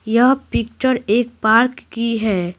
यह पिक्चर एक पार्क की है।